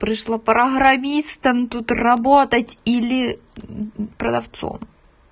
пришла программистом тут работать или продавцом